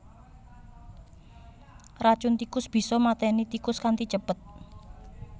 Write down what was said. Racun tikus bisa maténi tikus kanthi cepet